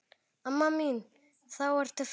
Amma mín þá ertu farin.